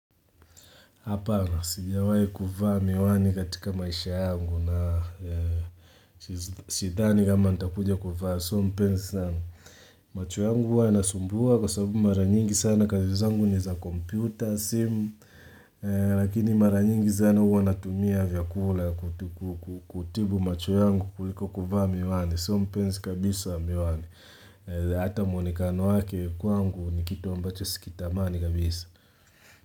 Hapana, sijawai kuvaa miwani katika maisha yangu na Sidhani kama nitakuja kuvaa, sio mpenzi sana macho yangu huwa yanasumbua kwa sababu maranyingi sana kazi zangu ni za compyuta, simu. Lakini maranyingi sana huwa natumia vyakula. Kutibu macho yangu kuliko kuvaa miwani, sio mpenzi kabisa wa miwani Hata muonekano wake kwangu ni kitu ambacho sikitamani kabisa.